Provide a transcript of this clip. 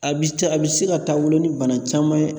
A bi se a bi se ka taa wolo ni bana caman ye.